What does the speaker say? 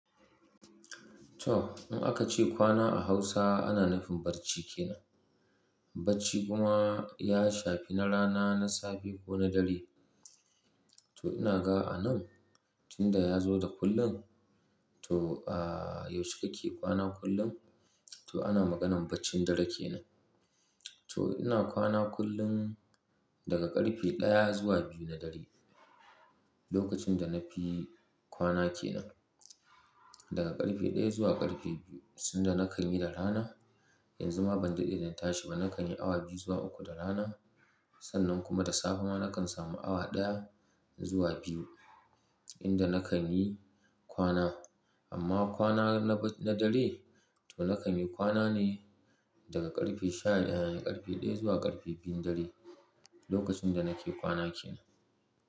Toh, in aka ce kwana a Hausa ana nufin barci ke nan. Barci kuma ya shafi na rana, na safe ko na dare. To ina ga a nan tinda ya zo da kullun. To, ah, yaushe kake kwana kullun? To ana maganan baccin dare kenan. To ina kwana kullum daga ƙarfe ɗaya zuwa biyu na dare. Lokacin da na fi kwana kenan daga ƙarfe ɗaya zuwa ƙarfe biyu. Sanda na kan yi da rana, yanzu ma ban daɗe da na tashi ba na kanyi awa biyu zuwa ukku da rana. Sannan kuma da safe ma na kan samu awa ɗaya zuwa biyu inda na kanyi kwana. Amma kwana na ba-- na dare to na kanyi kwana ne daga ƙarfe shadaya-- ƙarfe ɗaya zuwa ƙarfe biyun dare. Lokacin da nake kwana kenan.